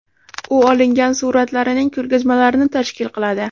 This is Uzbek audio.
U olingan suratlarining ko‘rgazmalarini tashkil qiladi.